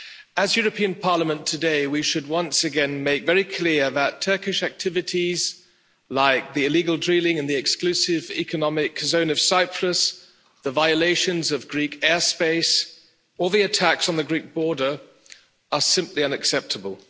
As the European Parliament, today we should once again make it very clear that Turkish activities, like the illegal drilling in the exclusive economic zone of Cyprus, the violations of Greek airspace or the attacks on the Greek border are simply unacceptable.